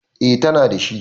E, tana da shi.